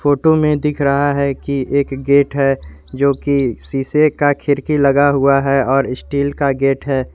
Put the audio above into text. Photo में दिख रहा है कि एक गेट है जो की शीशे का खिड़की लगा हुआ है और स्टील का गेट है।